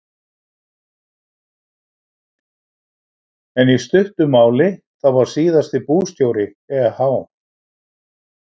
En í stuttu máli þá var síðasti bústjóri eh.